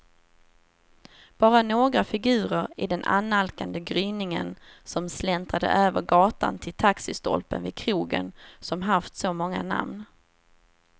Bara några figurer i den annalkande gryningen som släntrade över gatan till taxistolpen vid krogen som haft så många namn.